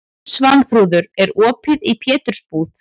Svanþrúður, er opið í Pétursbúð?